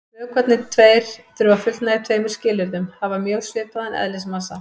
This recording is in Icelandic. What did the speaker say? Vökvarnir tveir þurfa að fullnægja tveimur skilyrðum: Hafa mjög svipaðan eðlismassa.